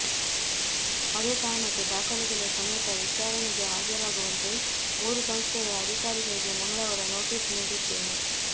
ಅದೇ ಕಾರಣಕ್ಕೆ ದಾಖಲೆಗಳ ಸಮೇತ ವಿಚಾರಣೆಗೆ ಹಾಜರಾಗುವಂತೆ ಮೂರು ಸಂಸ್ಥೆಗಳ ಅಧಿಕಾರಿಗಳಿಗೆ ಮಂಗಳವಾರ ನೋಟಿಸ್ ನೀಡಿದ್ದೇವೆ